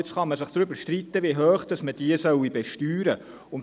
Jetzt kann man sich darüber streiten, wie hoch man diese besteuern soll.